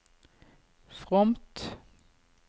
fromt